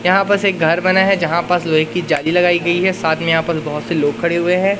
यहां बस एक घर बना है जहां पास लोहे की जाली लगाई गई है साथ में यहां पर बहुत से लोग खड़े हुए हैं।